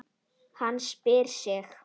Hann spjarar sig.